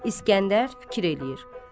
İskəndər fikir eləyir.